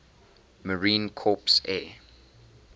marine corps air